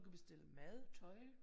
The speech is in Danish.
Du kan bestille mad tøj